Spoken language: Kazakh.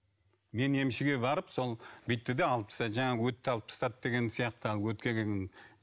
мен емшіге барып сол бүйтті де алып тастады жаңағы өтті алып тастады деген сияқты